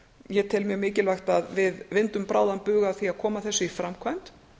ég tel mjög mikilvægt að við vindum bráðan bug af því að koma þessu í framkvæmd